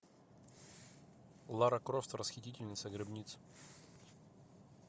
лара крофт расхитительница гробниц